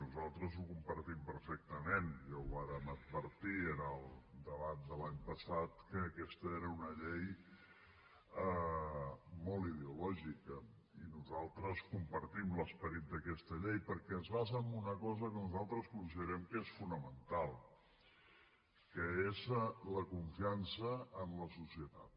nosaltres ho compartim perfectament ja ho vàrem advertir en el debat de l’any passat que aquesta era una llei molt ideològica i nosaltres compartim l’esperit d’aquesta llei perquè es basa en una cosa que nosaltres considerem que és fonamental que és la confiança en la societat